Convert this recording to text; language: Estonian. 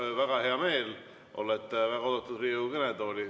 Mul on väga hea meel, olete väga oodatud Riigikogu kõnetooli.